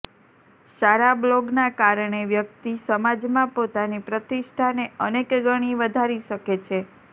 સારા બ્લોગના કારણે વ્યક્તિ સમાજમાં પોતાની પ્રતિષ્ઠાને અનેક ગણી વધારી શકે છે